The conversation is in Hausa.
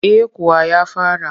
Eh kuwa ya fara